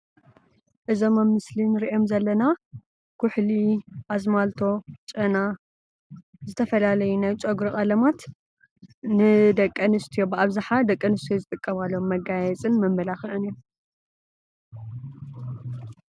እዞም ኣብ ምስሊ ንርእዮሞ ዘለና ኩሕሊ ፣ አዝማልቶ ፣ ጨና ዝተፈላለዩ ናይ ጨጉሪ ቀለማት ንደቂ ኣንስትዮ ብኣብዝሓ ደቂ ኣንስትዬ ዝጥቀማሎም መጋየፅን መመላኽዕን እዮም ።